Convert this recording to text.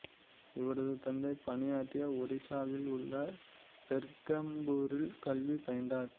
இவரது தந்தை பணியாற்றிய ஒரிசாவில் உள்ள பெர்ஹம்புரிலும் கல்வி பயின்றார்